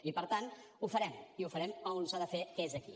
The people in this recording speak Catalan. i per tant ho farem i ho farem on s’ha de fer que és aquí